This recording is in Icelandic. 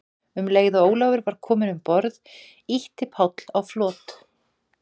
Um leið og Ólafur var kominn um borð, ýtti Páll á flot.